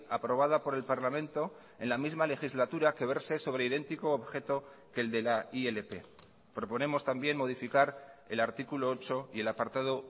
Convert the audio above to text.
aprobada por el parlamento en la misma legislatura que verse sobre idéntico objeto que el de la ilp proponemos también modificar el artículo ocho y el apartado